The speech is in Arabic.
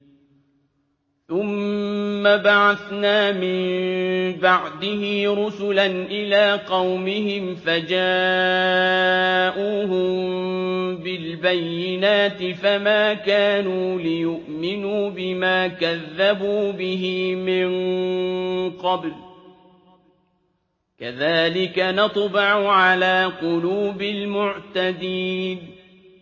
ثُمَّ بَعَثْنَا مِن بَعْدِهِ رُسُلًا إِلَىٰ قَوْمِهِمْ فَجَاءُوهُم بِالْبَيِّنَاتِ فَمَا كَانُوا لِيُؤْمِنُوا بِمَا كَذَّبُوا بِهِ مِن قَبْلُ ۚ كَذَٰلِكَ نَطْبَعُ عَلَىٰ قُلُوبِ الْمُعْتَدِينَ